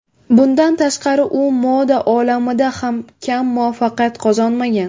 Bundan tashqari, u moda olamida ham kam muvaffaqiyat qozonmagan.